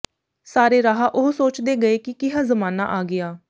ਸਾਰੇ ਰਾਹ ਉਹ ਸੋਚਦੇ ਗਏ ਕਿ ਕਿਹਾ ਜ਼ਮਾਨਾ ਆ ਗਿਆ